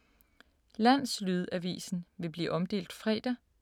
Landslydavisen vil blive omdelt fredag.